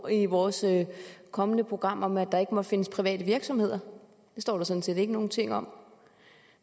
i vores kommende program om at der ikke må findes private virksomheder det står der sådan set ikke nogen ting om